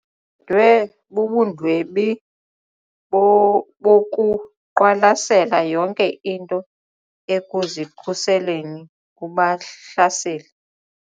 dwe bubundwebi bokuqwalasela yonke into ekuzikhuseleni kubahlaseli.